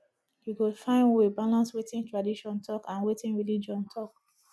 you go find way balance wetin tradition talk and wetin religion talk